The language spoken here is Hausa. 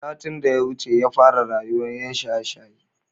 Satin daya wuce yafara rayuwan yan shaye shaye